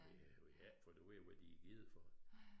Vi har vi har ikke fundet ud af hvad de har givet for den